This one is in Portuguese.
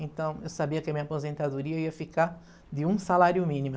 Então eu sabia que a minha aposentadoria ia ficar de um salário mínimo.